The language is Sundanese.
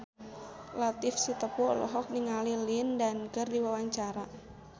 Latief Sitepu olohok ningali Lin Dan keur diwawancara